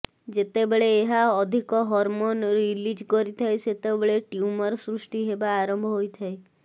ଯେତେବେଳେ ଏହା ଅଧିକ ହରମୋନ୍ ରିଲିଜ୍ କରିଥାଏ ସେତେବେଳେ ଟ୍ୟୁମର ସୃଷ୍ଟି ହେବା ଆରମ୍ଭ ହୋଇଥାଏ